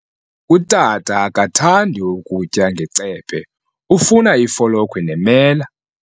Utata akathandi kutya ngecephe, ufuna ifolokhwe nemela.